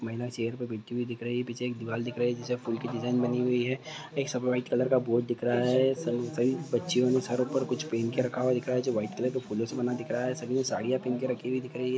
महिला चेयर पे बैठी हुई दिख रही है। पीछे एक दीवार दिख रही है जिसमे फूल की डिजाइन बनी हुई है। एक सफेद व्हाइट कलर का बोर्ड दिख रहा है। सभी बच्चियो ने सर पर कुछ पहन कर रखा हुआ दिख रहा जो व्हाइट कलर के फूलों का बना हुआ दिख रहा है। सभी ने साड़ी पहन के रखी हुई दिख रही है ।